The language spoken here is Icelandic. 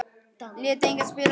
Lét engan spila með sig.